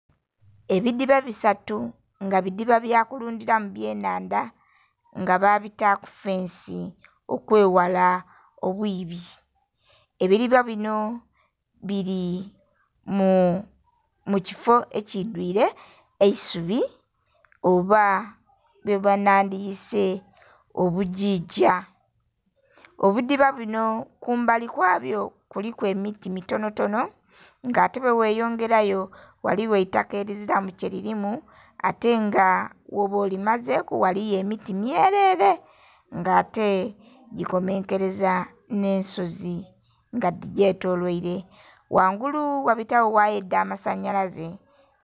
Ebidiiba bisatu nga bidiba bya kulundiramu byanandha nga babitaaku fence okwewala obwibi. Ebiriba bino biri mukifo ekyidwire eisubi oba bwena nandiyise obujija. Obudiba buno kumbali kwabwo kuliku emiti mitonotono atenga weweyongerayo waliyo eitaka eliziramu kyelirimu nga woba olimazeku liriku emiti myerere nga ate likomenkereza nensozi nga digyetoloirere. Wangulu wabitayo waya edha masanalaze